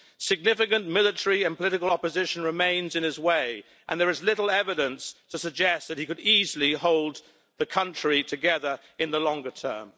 Significant military and political opposition remains in his way and there is little evidence to suggest that he could easily hold the country together in the longer term.